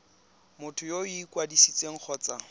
motho yo o ikwadisitseng kgotsa